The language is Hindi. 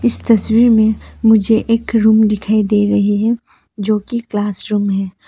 इस तस्वीर में मुझे एक रूम दिखाई दे रही है जो की क्लासरूम है।